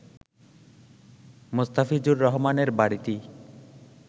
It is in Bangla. মোস্তাফিজুর রহমানের বাড়িটি